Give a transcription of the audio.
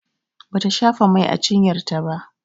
Bata shafa mai a cinyar ta ba